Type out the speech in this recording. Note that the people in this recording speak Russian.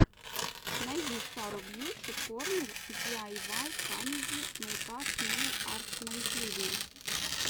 найди сару бьюти корнер ди ай вай камеди мейкап нейл арт на ютьюбе